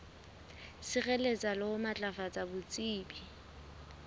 sireletsa le ho matlafatsa botsebi